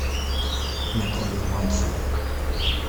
наталью мальцеву